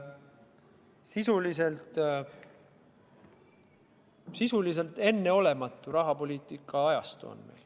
Käes on sisuliselt enneolematu rahapoliitika ajastu.